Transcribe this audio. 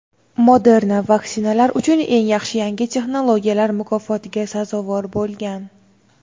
Moderna "Vaksinalar uchun eng yaxshi yangi texnologiyalar" mukofotiga sazovor bo‘lgan.